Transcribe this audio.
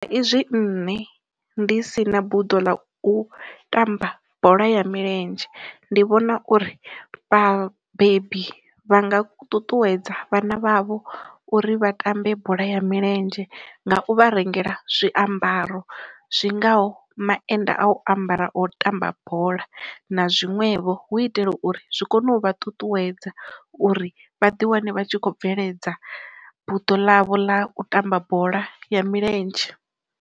Izwi nne ndi si na buḓo ḽa u tamba bola ya milenzhe ndi vhona uri vhabebi vha nga ṱuṱuwedza vhana vhavho uri vha tambe bola ya milenzhe nga u vha rengela zwiambaro zwingaho maennda a u ambara o tamba bola, na zwiṅwevho hu itela uri zwi kone u vha ṱuṱuwedza uri vhaḓi wane vha tshi kho bveledza buḓo ḽavho ḽa u tamba bola ya milenzhe.